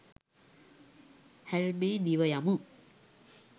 හැල්මේ දිව යමු.